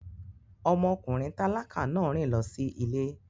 Ọmọkùnrin tálákà náà rìn lọ sí ilé